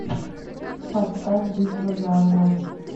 поставь битва за огонь